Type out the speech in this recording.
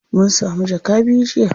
Mun samu jaka biyu jiya.